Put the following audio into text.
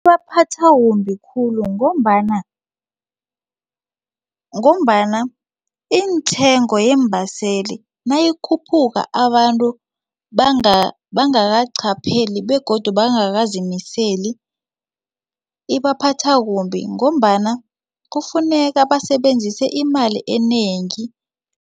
Ibaphathwa kumbi khulu ngombana intengo yeembaseli nayikhuphuka abantu bangakaqapheli begodu bangakazimisele ibaphatha kumbi ngombana kufuneka basebenzise imali enengi.